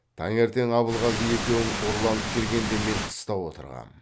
таңертең абылғазы екеуің ұрланып келгенде мен тыста отырғам